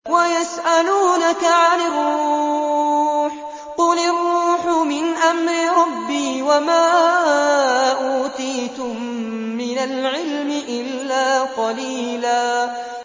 وَيَسْأَلُونَكَ عَنِ الرُّوحِ ۖ قُلِ الرُّوحُ مِنْ أَمْرِ رَبِّي وَمَا أُوتِيتُم مِّنَ الْعِلْمِ إِلَّا قَلِيلًا